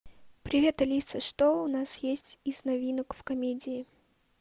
привет алиса что у нас есть из новинок в комедии